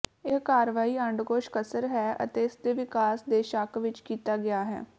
ਇਹ ਕਾਰਵਾਈ ਅੰਡਕੋਸ਼ ਕਸਰ ਹੈ ਅਤੇ ਇਸ ਦੇ ਵਿਕਾਸ ਦੇ ਸ਼ੱਕ ਵਿੱਚ ਕੀਤਾ ਗਿਆ ਹੈ